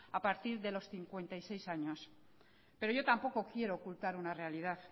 a partir de los cincuenta y seis años pero yo tampoco quiero ocultar una realidad